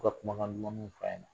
To ka kuma kan duman nu f'aye